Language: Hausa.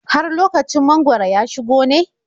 Har lokacin mangwaro ya shigo ne?